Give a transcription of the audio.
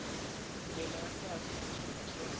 ndlela ya kahle naswona swa